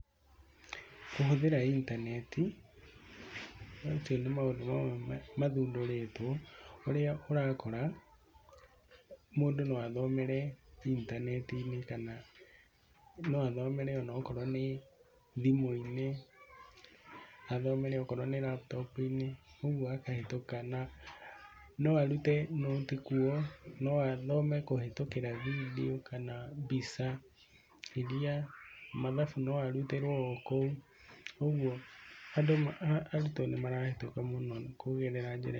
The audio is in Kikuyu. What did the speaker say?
Kũhũthĩra intaneti, macio nĩ maũndũ mamwe mathundũrĩtwo ũrĩa ũrakora mũndũ no athomere intaneti-inĩ, kana no athomere o na okorwo nĩ thimũ-inĩ, athomere okorwo nĩ laptop -inĩ, koguo akahĩtũka, na no arute noti kuo, no athome kũhĩtũkĩra vindiũ kana mbica iria, mathabu no arutĩrwo o kou, ũguo arutwo nĩ marahĩtũka mũno kũgerera njĩra.